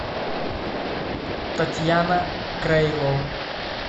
татьяна крайло